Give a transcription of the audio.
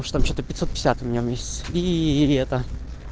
ну там что то пятьсот пятьдесят минус и летом